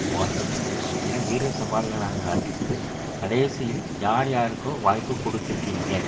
பார்க்கட்டும் என வீர சவால்களாக அதிர்த்து கடைசியில் யார் யாருக்கோ வாய்ப்பு கொடுத்திருக்கீங்க